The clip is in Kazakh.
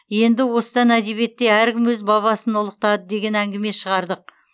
енді осыдан әдебиетте әркім өз бабасын ұлықтады деген әңгіме шығардық